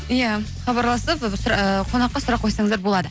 иә хабарласып қонаққа сұрақ қойсаңыздар болады